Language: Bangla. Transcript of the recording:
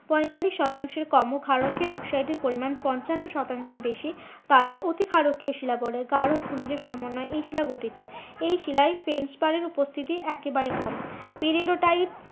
পঁয়তাল্লিশ শতাংশের কমও ক্ষারকীয় অক্সাইডের পরিমান পঞ্চান্ন শতাংশ এর বেশি তাদের অতিক্ষারকীয় শিলা বলে। গাঢ় খনিজ সমন্বয়ে এই শিলা গঠিত। এই শিলায় উপস্থিতি একেবারেই কম